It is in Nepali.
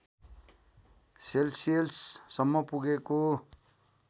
सेल्सियस सम्म पुगेको